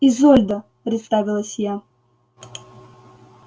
изольда представилась я